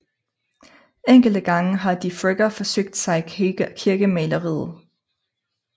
Enkelte gange har Defregger forsøgt sig i kirkemaleriet